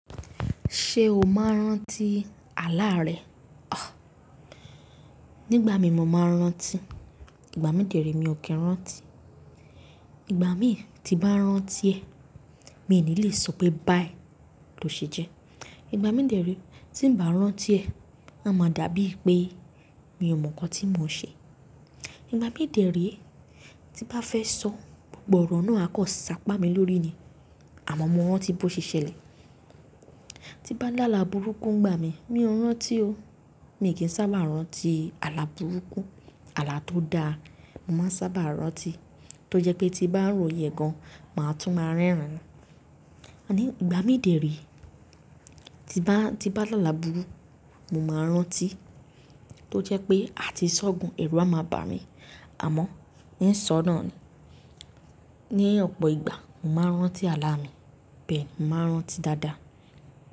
Ṣé o máa ń rántíi, àlá rẹ? Àh! Nígbà mí mọ máa ń rántí, ìgbà mí dèrí mi ò kí ń rántí. Ìgbà mí ti bá rántí ẹ́, mi ò ní le sọ pé báyiì ló ṣe jẹ. Ìgbà mí dèrí tí ń bá rántí ẹ́, a máa dàbí pé mi ò mọ nǹkan tí mo ṣe. Ìgbà mí dèrí tí bá fẹ́ sọ, gbogbo ọ̀rọ̀ náà akàn ṣàpá mi lórí ni, àmọ́ mo mọ rán tí bó ṣe ṣẹlẹ̀. Ti bá ń lá là burúkú ń gbà mí, mi ò ń rántí o. Mi ò kí ń sábà rántí àlá burúkú. Àlá tó da,.mo máa ń sábà rántí, tó jẹ́ pé tí bá ń ro ìyè gan, màá tún máa ń rẹ́rìn-ín. Àní, ìgbà mí dèrí. Tí bá, tí bá ń lá là burú, mo máa ń rántí, tó jẹ́ pé a ti ṣọ̀gùn, ẹ̀rù a máa bà mí, àmọ́ é ṣọnà ni. Ni ọ̀pọ̀ ìgbà, màá rántí àlá mi, bẹ́ẹ̀ mo màá rántí dáadáa.